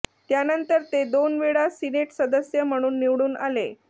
त्यानंतर ते दोन वेळा सिनेट सदस्य म्हणून निवडणून आले